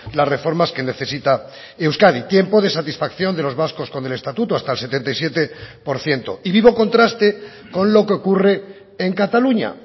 las reformas que necesita euskadi tiempo de satisfacción de los vascos con el estatuto hasta el setenta y siete por ciento y vivo contraste con lo que ocurre en cataluña